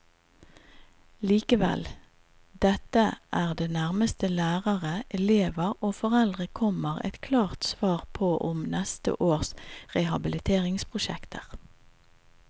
Likevel, dette er det nærmeste lærere, elever og foreldre kommer et klart svar om neste års rehabiliteringsprosjekter.